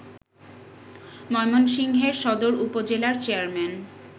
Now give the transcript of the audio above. ময়মনসিংহের সদর উপজেলার চেয়ারম্যান